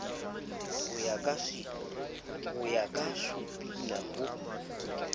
ho ya ka supina ho